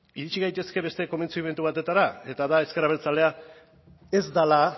iritsi gaitezke beste konbentzimendu batera eta da ezker abertzalea ez dela